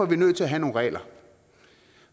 vi nødt til at have nogle regler